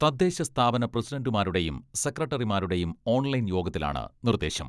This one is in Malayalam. തദ്ദേശ സ്ഥാപന പ്രസിഡണ്ടുമാരുടെയും സെക്രട്ടറിമാരുടെയും ഓൺലൈൻ യോഗത്തിലാണ് നിർദേശം.